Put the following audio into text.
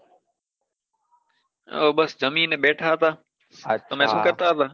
હા બસ જમીને બેઠા હતા તમે શું કરતા હતા?